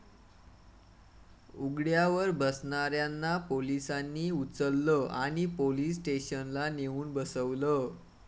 उघड्यावर बसणाऱ्यांना पोलिसांनी 'उचललं' आणि पोलीस स्टेशनला नेऊन 'बसवलं'